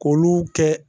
K'olu kɛ